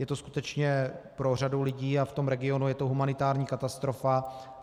Je to skutečně pro řadu lidí a v tom regionu je to humanitární katastrofa.